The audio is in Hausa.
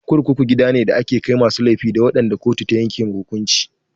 Kurkuku gida ne da ake ajiye masu laifi da waɗanda kotu ta yanke wa hukunci.